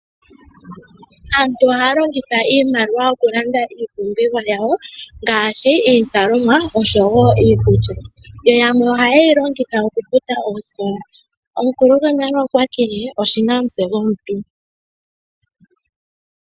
Aantu ohaya longitha iimaliwa okulanda iipumbiwa yawo ngaashi iizalomwa oshowo iikulya, yamwe ohaye yi longitha okufuta oosikla. Omukulu gonale okwa tile oshina omutse gomuntu.